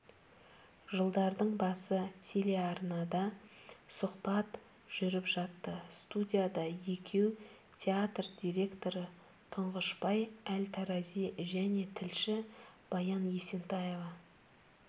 жылдардың басы телеарнада сұхбат жүріп жатты студияда екеу театр директоры тұңғышбай әл-тарази және тілші баян есентаева